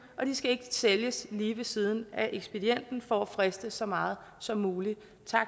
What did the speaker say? og de skal ikke sælges lige ved siden af ekspedienten for at friste så meget som muligt